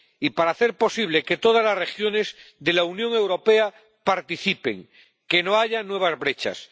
Y para hacer posible que todas las regiones de la Unión Europea participen, que no haya nuevas brechas.